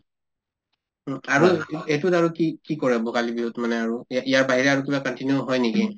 উম আৰু এই ‍এইটোত আৰু কি কি কৰা ভোগালী বিহুত মানে আৰু এই ইয়াৰ বাহিৰে আৰু কিবা হয় নেকি